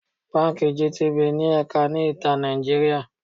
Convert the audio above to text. Báńkì gtbank ní ẹ̀ka ní ìta Nàìjíríà.